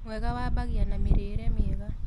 Mwega wabagĩa na mĩrĩĩre mĩega